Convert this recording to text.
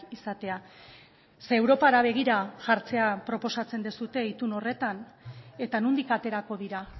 izatea ze europara begira jartzea proposatzen duzue itun horretan eta nondik aterako dira